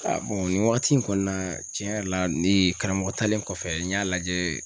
nin wagati in kɔni na tiɲɛ yɛrɛ la ni karamɔgɔ talen kɔfɛ n y'a lajɛ